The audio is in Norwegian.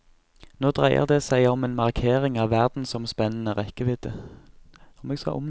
Nå dreier det seg om en markering av verdensomspennende rekkevidde.